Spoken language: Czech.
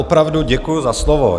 Opravdu děkuji za slovo.